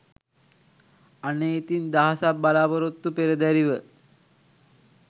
අනේ ඉතිං දහසක් බලාපොරොත්තු පෙරදැරිව